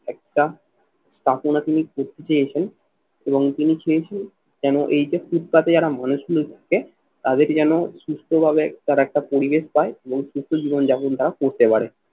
একটা তিনি করতে চেয়েছেন এবং তিনি চেয়েছেন যেন এই যে ফুটপাথে যারা মানুষগুলো থাকে তাদের যেন সুস্থভাবে তার একটা পরিবেশ পায় এবং সুস্থ জীবন যাপন তারা করতে পারে।